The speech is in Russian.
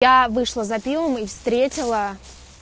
я вышла за пивом и встретила